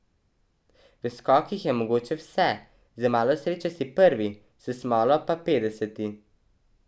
V skokih je mogoče vse, z malo sreče si prvi, s smolo pa petdeseti.